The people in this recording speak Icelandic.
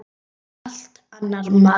Hann er allt annar maður.